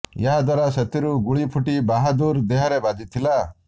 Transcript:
ଏହା ଦ୍ୱାରା ସେଥିରୁ ଗୁଳି ଫୁଟି ବାହାଦୁର ଦେହରେ ବାଜିଥିଲା